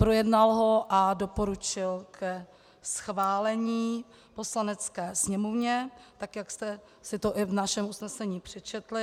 Projednal ho a doporučil ke schválení Poslanecké sněmovně tak, jak jste si to i v našem usnesení přečetli.